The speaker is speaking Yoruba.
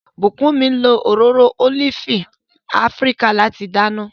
Bukunmi lo òróró ólífì Afíríkà láti dáná.